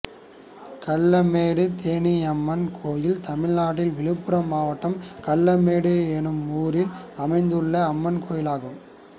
கல்லமேடு தேனியம்மன் கோயில் தமிழ்நாட்டில் விழுப்புரம் மாவட்டம் கல்லமேடு என்னும் ஊரில் அமைந்துள்ள அம்மன் கோயிலாகும்